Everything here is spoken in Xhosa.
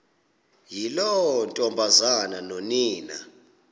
yiloo ntombazana nonina